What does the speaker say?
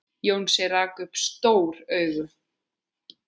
Jónsi rak upp stór augu.